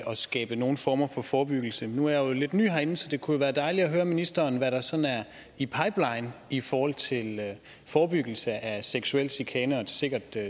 at skabe nogen form for forebyggelse nu er jeg lidt ny herinde så det kunne være dejligt at høre ministeren om hvad der sådan er i pipeline i forhold til forebyggelse af seksuel chikane og et sikkert